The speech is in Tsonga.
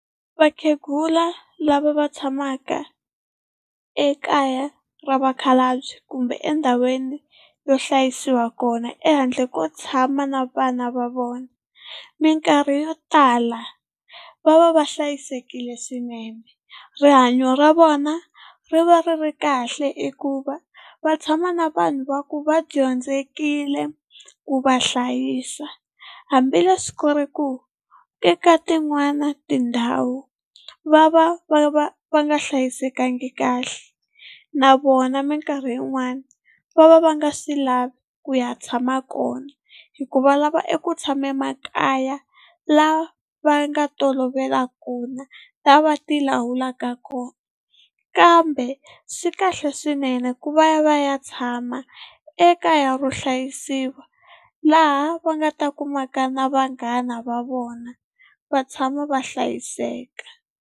Vakhegula lava va tshamaka ekaya ra vakhalabye kumbe endhawini yo hlayisiwa kona ehandle ko tshama na vana va vona, mikarhi yo tala va va va hlayisekile swinene. Rihanyo ra vona ri va ri ri kahle hikuva va tshama na vanhu va ku va dyondzekile ku va hlayisa hambileswi ku ri ku eka tin'wana tindhawu va va va nga hlayisekanga kahle, na vona mikarhi yin'wani va va va nga swi lavi ku ya tshama kona hikuva va lava eku tshama makaya la va nga tolovela kona la va tilawulaka kona. Kambe swi kahle swinene ku va va ya tshama ekaya ro hlayisiwa, laha va nga ta kumaka na vanghana va vona va tshama va hlayiseka.